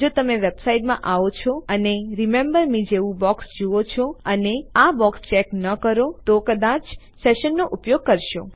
જો તમે વેબસાઈટમાં આવો છો અને રિમેમ્બર મે જેવું બોક્સ જુઓ છો અને તમે આ બોક્સ ચેક ન કરો તો તમે કદાચ સેશન્સનો ઉપયોગ કરશો